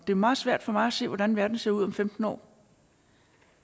det meget svært for mig at se hvordan verden ser ud om femten år